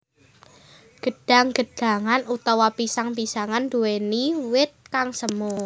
Gedhang gedhangan utawa pisang pisangan nduwèni wit kang semu